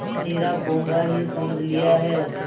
हमें निरा पोंगा ही समझ लिया है